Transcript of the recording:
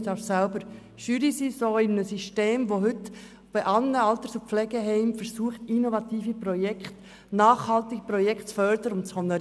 Ich gehöre selber der Jury eines Systems an, welches heute in Alters- und Pflegeheimen innovative, nachhaltige Projekte fördert und honoriert.